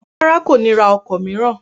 Rárá, kò ní ra ọkọ̀ mìíràn